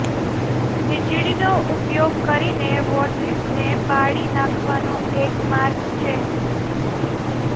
વીજળીનો ઉપયોગ કરીને વોર્સિસને બાળી નાખવાનો એક માર્ગ છે